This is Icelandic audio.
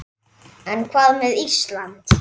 En hvað með Ísland?